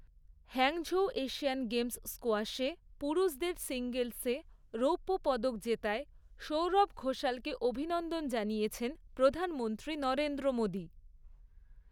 Hangzhou Asian গেমসে স্কোয়াশে পুরুষদের সিঙ্গলসে রৌপ্য পদক জেতায় সৌরভ ঘোষালকে অভিনন্দন জানিয়েছেন প্রধানমন্ত্রী নরেন্দ্র মোদী।